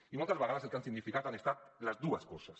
i moltes vegades el que ha significat han estat les dues coses